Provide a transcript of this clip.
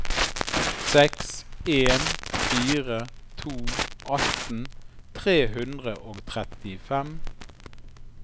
seks en fire to atten tre hundre og trettifem